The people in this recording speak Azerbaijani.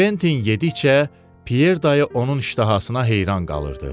Kventin yedikcə, Pyer dayı onun iştahasına heyran qalırdı.